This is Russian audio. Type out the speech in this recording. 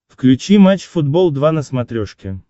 включи матч футбол два на смотрешке